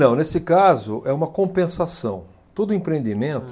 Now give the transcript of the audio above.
Não, nesse caso é uma compensação, todo empreendimento